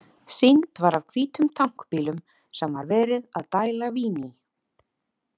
Sýnd var af hvítum tank bílum sem var verið að dæla vín í.